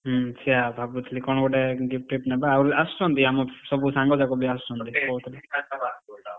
ହୁଁ ସେଇଆ ଭାବୁଥିଲି କଣ ଗୋଟେ gift ଫିଫ୍ଟ ନବା ଆଉ ଆସୁଛନ୍ତି ଆମ ସବୁ ସାଙ୍ଗ ଯାକ ବି ଆସୁଛନ୍ତି କହୁଥିଲା ।